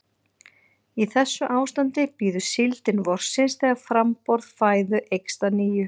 Í þessu ástandi bíður síldin vorsins þegar framboð fæðu eykst að nýju.